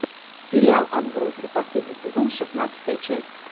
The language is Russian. сериал отбросы последний сезон шестнадцатая часть